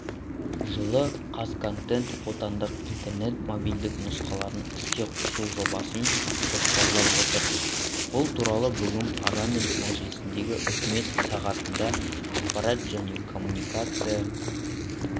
жылы қазконтент отандық интернет мобильдік нұсқаларын іске қосу жобасын жоспарлап отыр бұл туралы бүгін парламент мәжілісіндегі үкімет сағатында ақпарат және коммуникация